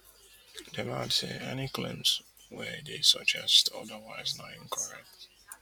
dem add say any claims wey dey suggest odawise na incorrect